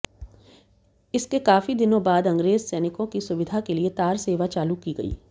इसके काफी दिनों बाद अंग्रेज सैनिकों की सुविधा के लिए तार सेवा चालू की गई